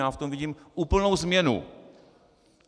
Já v tom vidím úplnou změnu.